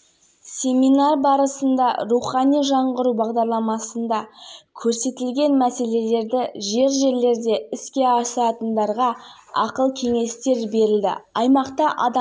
астана аренада өткен матч есебімен аяқталды бұл еуропа лигасының топтық кезеңіндегі астананың алғашқы жеңісі осылайша қазақстандық команда